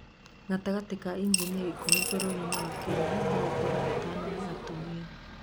gatagatĩ ka injinia ikũmi bũrũri-nĩ wa Kenya no ũkore atano nĩ atumia